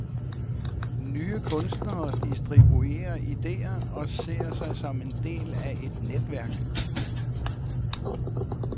Nye kunstnere distribuerer idéer og ser sig som en del af et netværk.